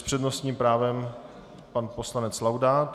S přednostním právem pan poslanec Laudát.